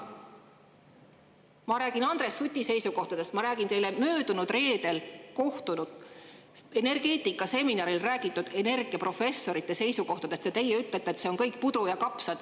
Ma rääkisin Andres Suti seisukohtadest, ma rääkisin teile möödunud reedel energeetikaseminaril energiaprofessorite seisukohtadest ja teie ütlete, et see on kõik puder ja kapsad.